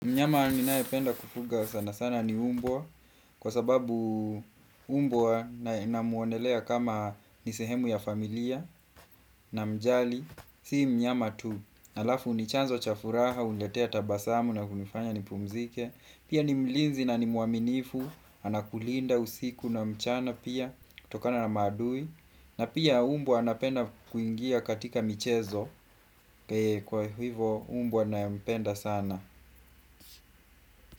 Mnyama ninayo penda kufuga sana sana ni umbwa, kwa sababu umbwa namuonelea kama nisehemu ya familia namjali, si mnyama tu. Halafu ni chanzo cha furaha, uniletea tabasamu na kunifanya ni pumzike, pia ni mlinzi na ni muaminifu, anakulinda usiku na mchana pia, tokana na maadui, na pia umbwa anapenda kuingia katika michezo, kwa hivo umbwa nae mpenda sana.